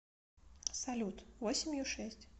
салют восемью шесть